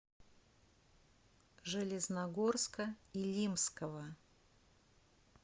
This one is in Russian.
железногорска илимского